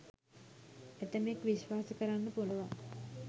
ඇතැමෙක් විශ්වාස කරන්න පුළුවන්